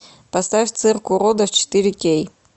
поставь цирк уродов четыре кей